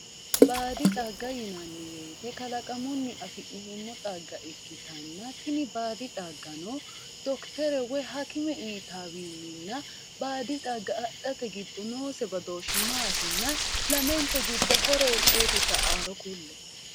Baadi xagga yinanni woyte kalaqamunni affi'neemmo xagga ikkittanna tini baadi xaggano dokitere woyi hakime uyittawininna baadi xagga adhate giddo noose badooshi maatinna lamente giddo horo hiitete sa"anoro kule"e?